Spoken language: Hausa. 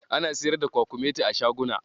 Ana siyar da kwakumeti a shaguna.